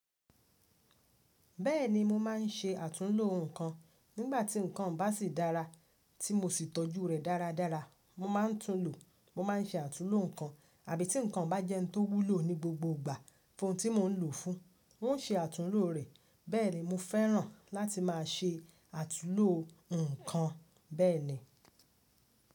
Bẹ́ẹ̀ni mo máà ń ṣe àtúnlo nǹkan nígbà tí nǹkan un bá sì dára tí mo sì tọ́jú rẹ̀ dáradára. Mo máa ń tún lò, mo máa ń ṣe àtúnlò nǹkan, àbí tí nǹkan un bá jẹ́ ohun tó wúlò ní gbogbo ìgbà fún ohun tí mo ń lò ó fún, n ó ń ṣe àtúlò rẹ̀. Bẹ́ẹ̀ni mo fẹ́ràn láti máa ṣe àtúlò nǹkan bẹ́ẹ̀ni.